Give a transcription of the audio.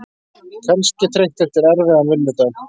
Kannski þreytt eftir erfiðan vinnudag.